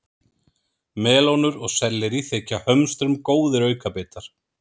Melónur og sellerí þykja hömstrum góðir aukabitar.